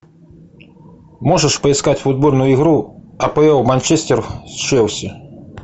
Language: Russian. можешь поискать футбольную игру апл манчестер с челси